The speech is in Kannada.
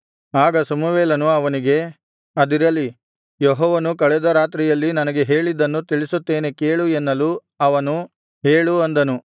ಆಗ ಸಮುವೇಲನು ಅವನಿಗೆ ಅದಿರಲಿ ಯೆಹೋವನು ಕಳೆದ ರಾತ್ರಿಯಲ್ಲಿ ನನಗೆ ಹೇಳಿದ್ದನ್ನು ತಿಳಿಸುತ್ತೇನೆ ಕೇಳು ಎನ್ನಲು ಅವನು ಹೇಳು ಅಂದನು